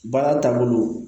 Baara taabolo